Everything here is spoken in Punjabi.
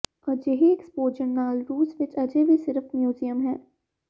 ਅਜਿਹੇ ਐਕਸਪੋਜਰ ਨਾਲ ਰੂਸ ਵਿੱਚ ਅਜੇ ਵੀ ਸਿਰਫ ਮਿਊਜ਼ੀਅਮ ਹੈ